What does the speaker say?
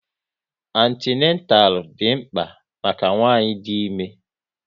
Antinatal dị mkpa maka ụmụnwanyị dị ime